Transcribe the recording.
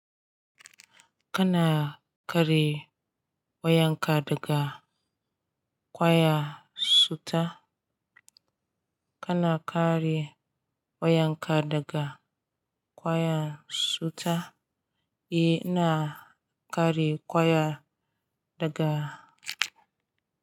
Kana kare wayanka daga ƙwaya cuta? Kana kare wayanka daga ƙwaya cuta? E, ina kare kwaya daga.